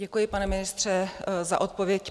Děkuji, pane ministře, za odpověď.